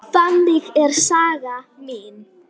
Þannig er saga mín.